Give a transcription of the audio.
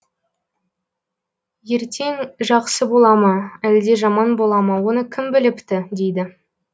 ертең жақсы бола ма әлде жаман бола ма оны кім біліпті дейді